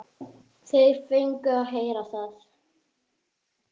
Þeir fengu að heyra það.